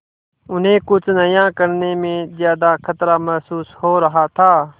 उन्हें कुछ नया करने में ज्यादा खतरा महसूस हो रहा था